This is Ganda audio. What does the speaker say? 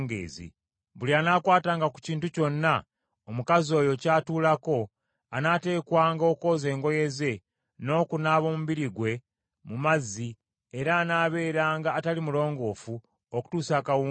Buli anaakwatanga ku kintu kyonna omukazi oyo ky’atuulako, anaateekwanga okwoza engoye ze n’okunaaba omubiri gwe mu mazzi, era anaabeeranga atali mulongoofu okutuusa akawungeezi.